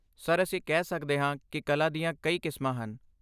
Sir, ਅਸੀਂ ਕਹਿ ਸਕਦੇ ਹਾਂ ਕਿ ਕਲਾ ਦੀਆਂ ਕਈ ਕਿਸਮਾਂ ਹਨ।